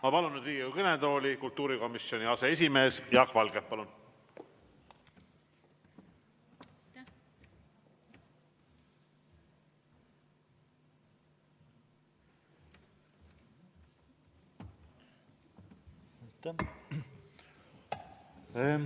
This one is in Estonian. Ma palun nüüd Riigikogu kõnetooli kultuurikomisjoni aseesimehe Jaak Valge, palun!